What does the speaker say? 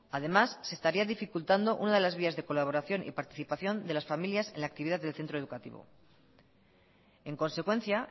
además se estaría dificultando una de las vías de colaboración y participación de las familias en la actividad del centro educativo en consecuencia